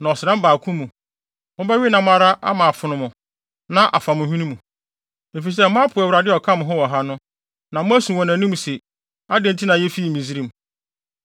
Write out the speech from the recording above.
Na ɔsram baako mu, mobɛwe nam ara ama afono mo ama afa mo hwene mu. Efisɛ moapo Awurade a ɔka mo ho wɔ ha no, na moasu wɔ nʼanim se, adɛn nti na yefii Misraim?’ ”